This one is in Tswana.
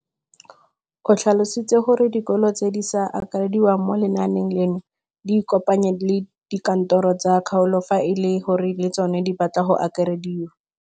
O tlhalositse gore dikolo tse di sa akarediwang mo lenaaneng leno di ikopanye le dikantoro tsa kgaolo fa e le gore le tsona di batla go akarediwa.